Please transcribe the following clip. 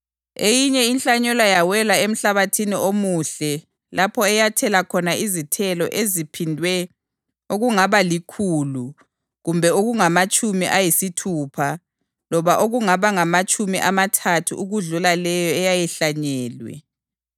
Eyinye inhlanyelo yawela emhlabathini omuhle lapho eyathela khona izithelo eziphindwe okungabalikhulu, kumbe okungamatshumi ayisithupha loba okungamatshumi amathathu ukudlula leyo eyayihlanyelwe.